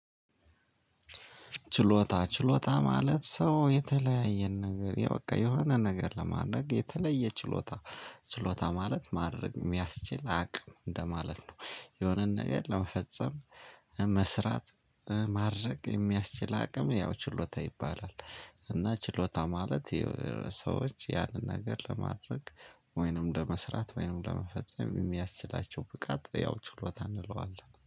ችሎታ ችሎታ ማለት ሰው የተለያየ ነገር ያው በቃ የሆነ ነገር ለማድረግ የተለየ ችሎታ ችሎታ ማለት ማድረግ የሚያስችል አቅም እንደማለት ነው የሆነን ነገር ለመፈጸም መስራት ማድረግ የሚያስችል አቅም ያው ችሎታ ይባላል። እና ችሎታ ማለት ሰዎች ያንን ነገር ለማድረግ ወይንም ለመስራት ወይንም ለመፈጸም የሚያስችላቸው ብቃት ያው ችሎታ እንለዋለን